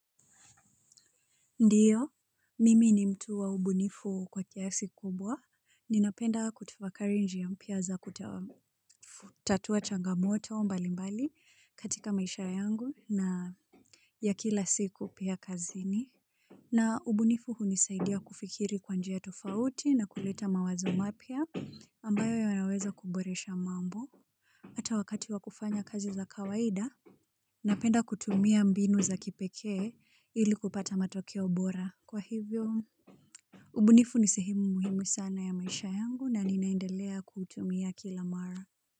Ndiyo, mimi ni mtu wa ubunifu kwa kiasi kubwa, ninapenda kutafakari njia mpya za kutawamu tatua changamoto mbalimbali katika maisha yangu na ya kila siku pia kazini. Na ubunifu hunisaidia kufikiri kwa njia tofauti na kuleta mawazo mapya ambayo yanaweza kuboresha mambo. Ata wakati wa kufanya kazi za kawaida napenda kutumia mbinu za kipekee ili kupata matokeo bora kwa hivyo ubunifu ni sehemu muhimu sana ya maisha yangu na ninaendelea kutumia kila mara.